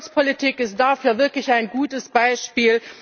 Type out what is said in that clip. Kohäsionspolitik ist dafür wirklich ein gutes Beispiel.